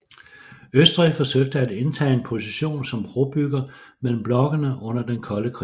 Østrig forsøgte at indtage en position som brobygger mellem blokkene under den kolde krig